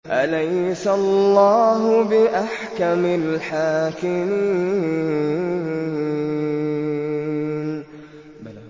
أَلَيْسَ اللَّهُ بِأَحْكَمِ الْحَاكِمِينَ